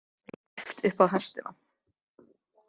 Þeim var lyft upp á hestana.